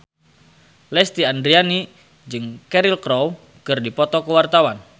Lesti Andryani jeung Cheryl Crow keur dipoto ku wartawan